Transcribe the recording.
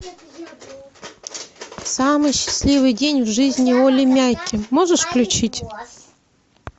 самый счастливый день в жизни олли мяки можешь включить